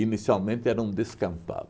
era um descampado.